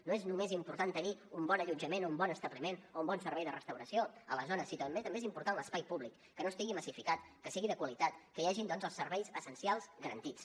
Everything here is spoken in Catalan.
no és només important tenir un bon allotjament o un bon establiment o un bon servei de restauració a la zona sinó que també és important l’espai públic que no estigui massificat que sigui de qualitat que hi hagin doncs els serveis essencials garantits